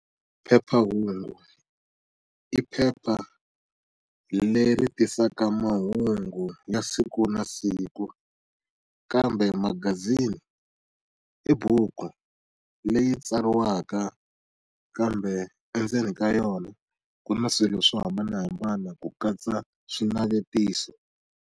Phephahungu, i phepha leri tisaka mahungu ya siku na siku. Kambe magazini i buku leyi tsariwaka kambe endzeni ka yona ku na swilo swo hambanahambana ku katsa swinavetiso.